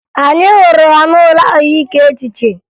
Anyị hụrụ ha n'ụlọ ahụike echiche